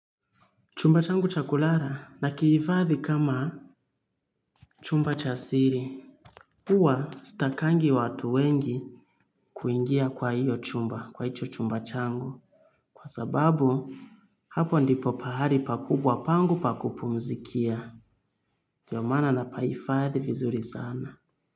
Chumba changu chakulala na kihifadhi kama chumba chasiri. Huwa sitakangi watu wengi kuingia kwa hio chumba kwa hicho chumba changu. Kwa sababu, hapo ndipo pahali pakubwa pangu pakupu mzikia. Ndiomaana na pahifadhi vizuri sana.